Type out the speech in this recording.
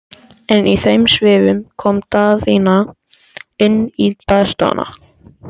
En í þeim svifum kom Daðína inn í baðstofuna.